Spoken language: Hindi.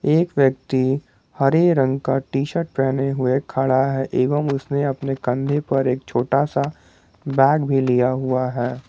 एक व्यक्ति हरे रंग का टी शर्ट पहने हुए खड़ा है एवं उसने अपने कंधे पर एक छोटा सा बैग भी लिया हुआ है।